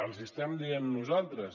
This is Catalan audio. els ho estem dient nosaltres